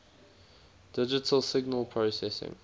digital signal processing